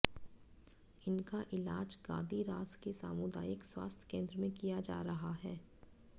इनका इलाज गादीरास के सामुदायिक स्वास्थ्य केंद्र में किया जा रहा है